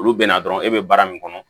Olu bɛ na dɔrɔn e bɛ baara min kɔnɔ